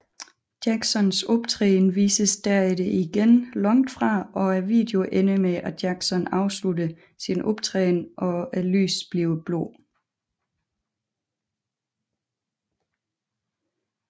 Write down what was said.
Jacksons optræden vises derefter igen langt fra og videon ender med at Jackson afslutter sin optræden og lyset bliver blåt